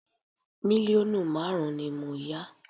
Mílíọ̀nù márùn-ún ni mo yá